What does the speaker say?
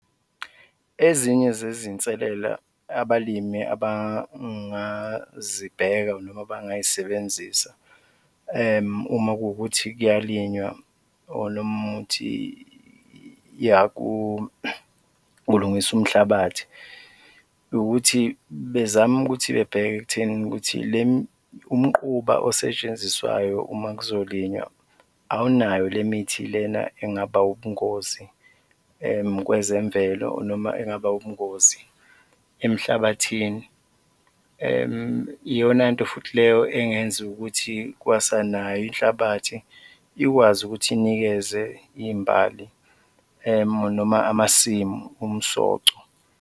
Ezinye zezinselela abalimi abangazibheka noma abangay'sebenzisa uma kuwukuthi kuyalinywa or nomuthi yakulungiswa umhlabathi ukuthi bezame ukuthi bebheke ekuthenini ukuthi umquba osetshenziswayo uma kuzolinywa awunayo le mithi lena engaba ubungozi kwezemvelo noma engaba ubungozi emhlabathini, iyonanto futhi leyo engenziwa ukuthi kwasanayo inhlabathi ikwazi ukuthi inikeze iy'mbali noma amasimu umsoco.